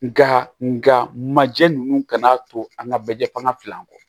Nka nga majɛ ninnu ka n'a to an ka bɛjɛ fangan fila kɔ